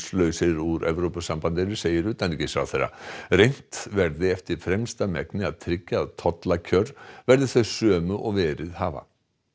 úr Evrópusambandinu segir utanríkisráðherra reynt verði eftir fremsta megni að tryggja að tollakjör verði þau sömu og verið hafa